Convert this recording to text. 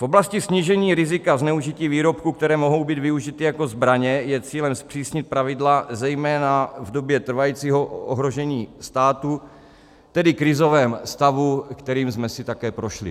V oblasti snížení rizika zneužití výrobků, které mohou být využity jako zbraně, je cílem zpřísnit pravidla zejména v době trvajícího ohrožení státu, tedy krizovém stavu, kterým jsme si také prošli.